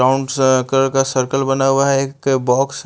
sound circle का circle बना हुआ है एक बॉक्स --